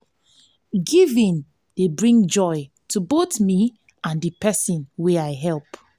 giving dey bring joy to both me and the person i help.